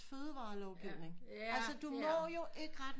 Fødevarer lovgivning altså du må jo ikke ret meget